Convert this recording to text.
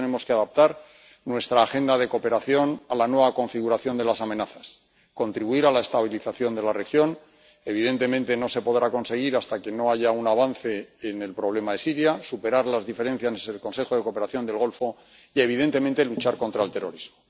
Por eso tenemos que adaptar nuestra agenda de cooperación a la nueva configuración de las amenazas, contribuir a la estabilización de la región —evidentemente, no se podrá conseguir hasta que no haya un avance en el problema de Siria—, superar las diferencias en el Consejo de Cooperación del Golfo y, evidentemente, luchar contra el terrorismo.